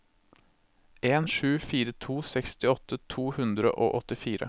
en sju fire to sekstiåtte to hundre og åttifire